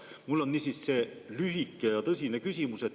Mul on niisiis lühike ja tõsine küsimus.